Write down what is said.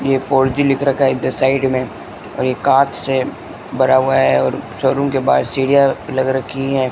ये four G लिख रखा है इधर साइड में और ये कांच से भरा हुआ है और शोरूम के बाहर सीढ़ियां लग रखी है।